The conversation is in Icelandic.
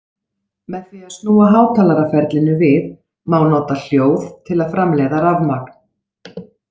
Með því að snúa hátalaraferlinu við má nota hljóð til að framleiða rafmagn.